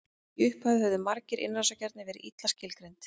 í upphafi höfðu markmið innrásarinnar verið illa skilgreind